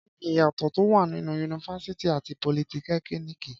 Kí ni ìyàtọ̀ tó wà nínú yunifásítì àti politẹ́kíníìkì?